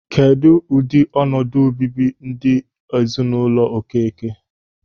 Kedụ ụdị ọnọdụ o bibi ndụ n'ezinụlọ Okeke?